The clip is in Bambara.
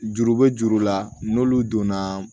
Juru be juru la n'olu donna